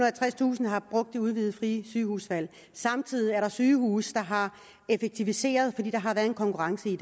og tredstusind har brugt det udvidede frie sygehusvalg og samtidig er der sygehuse der har effektiviseret fordi der har været en konkurrence i